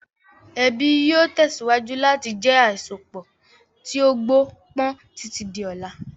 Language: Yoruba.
Ẹbí yìí ó tẹ̀síwájú láti jẹ àsopọ̀ tí ó gbó pọn títí di ọlá.